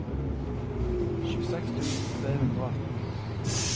tjueseks tusen tre hundre og atten